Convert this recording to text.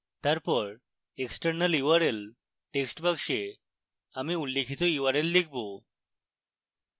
তারপর external url text বাক্সে এখানে উল্লিখিত url লিখুন